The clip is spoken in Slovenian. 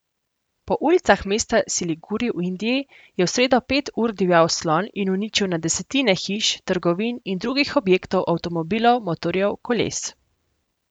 Po ulicah mesta Siliguri v Indiji je v sredo pet ur divjal slon in uničil na desetine hiš, trgovin in drugih objektov avtomobilov, motorjev, koles.